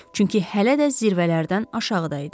Çünki hələ də zirvələrdən aşağıda idi.